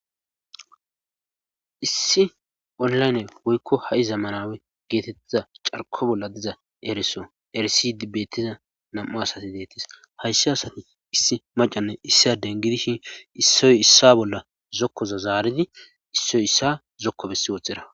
issi onlayne woykko ha'i zamanawe geetettiza carqo bolla diza ereso erisi dibbettiza nam7a asasi detis haysshi asati issi macanne issiden gidishin issoy issa bolla zokkoza zaaridi issoy issa zokko bessi woothxera